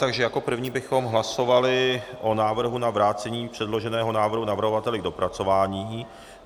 Jako jako první bychom hlasovali o návrhu na vrácení předloženého návrhu navrhovateli k dopracování.